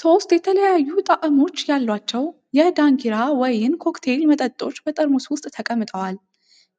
ሶስት የተለያዩ ጣዕሞች ያላቸው የ"ደንኪራ" ወይን ኮክቴል መጠጦች በጠርሙስ ውስጥ ተቀምጠዋል።